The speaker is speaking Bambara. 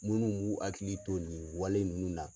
Munnuw b'u hakili to nin wale ninnu na.